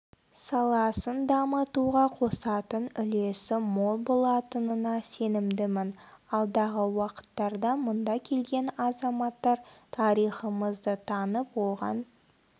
саласын дамытуға қосатын үлесі мол болатынына сенімдімін алдағы уақыттарда мұнда келген азаматтар тарихымызды танып оған